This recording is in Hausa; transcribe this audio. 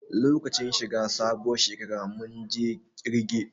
Lokacin shi ga sabuwar shekara mun je ƙirge